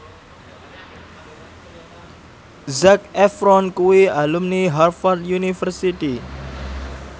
Zac Efron kuwi alumni Harvard university